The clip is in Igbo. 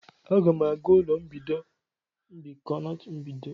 Aga m aga ụlọ mbikọ ma emechaa nkuzi.